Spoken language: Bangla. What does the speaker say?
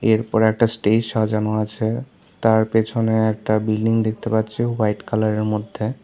এরপর একটা স্টেজ সাজানো আছে তার পেছনে একটা বিল্ডিং দেখতে পাচ্ছি হোয়াইট কালার -এর মধ্যে।